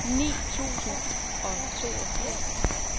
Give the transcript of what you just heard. ni tusind og toogfirs